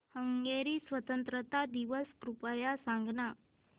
Hungary स्वातंत्र्य दिवस कृपया सांग ना